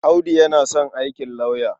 Audu yana son aikin lauya.